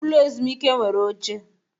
Ụlọ ezumike nwere oche.